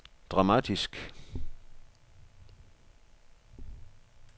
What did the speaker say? dramatisk